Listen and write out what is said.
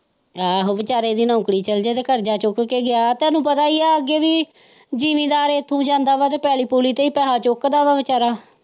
ਆਹੋ ਵਿਚਾਰੇ ਦੀ ਨੌਕਰੀ ਚੱਲੀ ਜਾਏ ਤੇ ਕਰਜ਼ਾ ਚੁੱਕ ਕੇ ਗਿਆ ਹੈ ਤੁਹਾਨੂੰ ਪਤਾ ਹੀ ਹੈ ਅੱਗੇ ਵੀ ਜ਼ਿਮੀਦਾਰ ਇੱਥੋਂ ਹੀ ਜਾਂਦਾ ਹੈ ਅਤੇ ਪੈਲੀ ਪੁਲੀ ਤੇ ਹੀ ਪੈਸਾ ਚੁੱਕਦਾ ਹੈ ਵਿਚਾਰਾ।